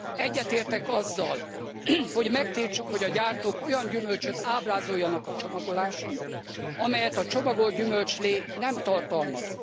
Egyetértek azzal, hogy megtiltsuk, hogy a gyártók olyan gyümölcsöt ábrázoljanak a csomagoláson, amelyet a csomagolt gyümölcslé nem tartalmaz.